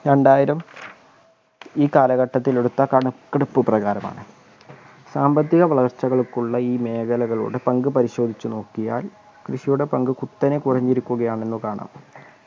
രണ്ടായിരം ഈ കാലഘട്ടത്തിൽ എടുത്ത കണക്കെടുപ്പ് പ്രകാരമാണ് സാമ്പത്തിക വളർച്ചകൾക്കുള്ള ഈ മേഖലകളോട് പങ്ക് പരിശോധിച്ചു നോക്കിയാൽ കൃഷിയുടെ പങ്ക് കുത്തനെ കുറഞ്ഞിരിക്കുകയാണെന്ന് കാണാം